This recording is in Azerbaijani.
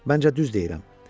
Məncə düz deyirəm.